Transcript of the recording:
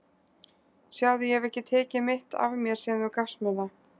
Sjáðu, ég hef ekki tekið mitt af mér síðan þú gafst mér það.